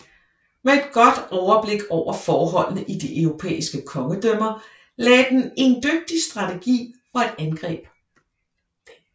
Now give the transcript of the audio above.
Med et godt overblik over forholdene i de europæiske kongedømmer lagde den en dygtig strategi for et angreb